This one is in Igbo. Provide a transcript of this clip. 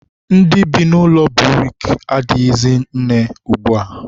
ndị bi n'ụlọ buriki ehighizi nne ugbua.